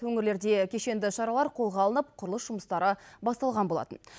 өңірлерде кешенді шаралар қолға алынып құрылыс жұмыстары басталған болатын